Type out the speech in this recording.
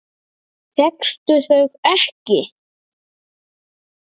Fékkstu þau ekki?